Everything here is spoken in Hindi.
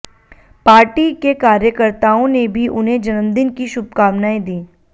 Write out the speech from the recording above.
पार्टी के कार्यकर्ताओं ने भी उन्हें जन्मदिन की शुभकामनाएं दी